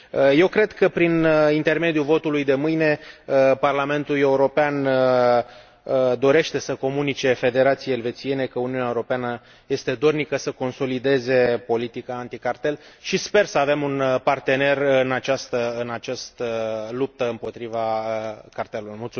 Eu cred că, prin intermediul votului de mâine, Parlamentul European dorește să comunice Confederației Elvețiene că Uniunea Europeană este dornică să consolideze politica anti cartel și sper să avem un partener în această luptă împotriva cartelurilor.